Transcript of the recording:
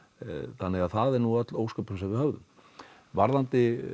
þannig að það er nú öll ósköpin sem við höfðum varðandi